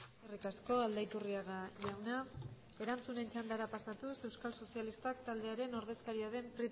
eskerrik asko aldaiturriaga jauna erantzunen txandara pasatuz euskal sozialistak taldearen ordezkaria den